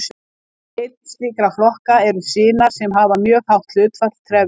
Einn slíkra flokka eru sinar sem hafa mjög hátt hlutfall trefja.